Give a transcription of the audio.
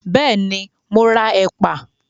Bẹ́ẹ̀ ni, mọ ra ẹ̀pà